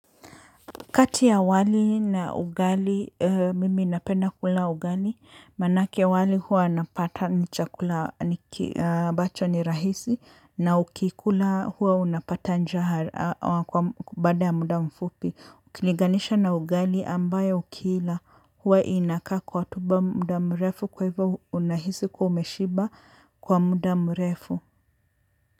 Kati ya wali na ugali, mimi napenda kula ugali manake wali huwa napata ni chakula. Bacho ni rahisi, na ukikula huwa unapata njaa kwa baada ya muda mfupi. Ukilinganisha na ugali ambayo ukiila huwa inakaa kwa tumbo muda mrefu kwa hivyo unahisi kwa umeshiba kwa muda mrefu.